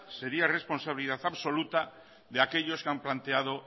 sería responsabilidad absoluta de aquellos que han planteado